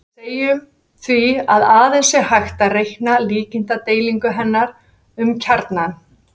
Við segjum því að aðeins sé hægt að reikna líkindadreifingu hennar um kjarnann.